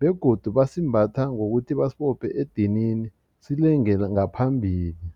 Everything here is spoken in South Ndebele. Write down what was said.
begodu basimbatha ngokuthi basibophe edinini silengele ngaphambili.